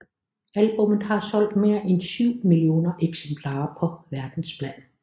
Albummet har solgt mere en syv millioner eksemplarer på verdensplan